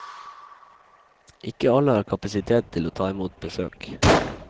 Ikke alle har kapasitet til å ta imot besøk.